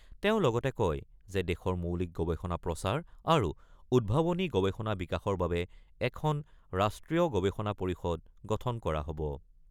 তেওঁ লগতে কয় যে দেশৰ মৌলিক গৱেষণা প্ৰচাৰ আৰু উদ্ভাৱনী গৱেষণা বিকাশৰ বাবে এখন ৰাষ্ট্ৰীয় গৱেষণা পৰিষদ গঠন কৰা হ'ব।